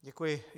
Děkuji.